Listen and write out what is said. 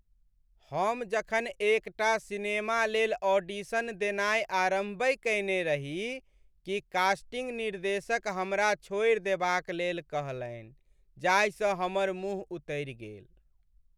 हम जखन एकटा सिनेमा लेल ऑडिशन देनाइ आरम्भहि कयने रही कि कास्टिंग निर्देशक हमरा छोड़ि देबाक लेल कहलनि जाहिसँ हमर मुँह उतरि गेल।